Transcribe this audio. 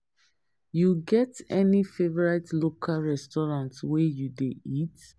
You get any favorite local restaurant where you dey eat?